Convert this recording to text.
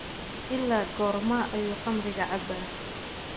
Ilaa goorma ayuu khamriga cabaa?